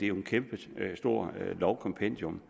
jo et kæmpestort lovkompendium